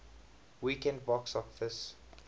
weekend box office